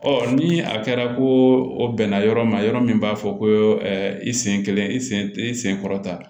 Ɔ ni a kɛra ko o bɛn na yɔrɔ ma yɔrɔ min b'a fɔ ko i sen kelen i sen i sen kɔrɔ ta